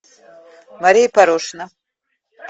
мария порошина